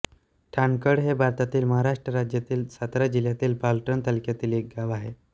ठाणकळ हे भारतातील महाराष्ट्र राज्यातील सातारा जिल्ह्यातील पाटण तालुक्यातील एक गाव आहे